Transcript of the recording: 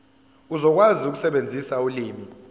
uzokwazi ukusebenzisa ulimi